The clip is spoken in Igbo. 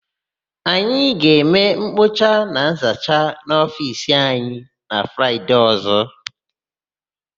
Anyị ga-eme nkpocha na nzacha n'ofiisi anyị na Fraịde ọ̀zọ́.